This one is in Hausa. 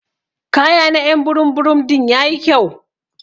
Kaya na y'an burum burum din yayi kyau.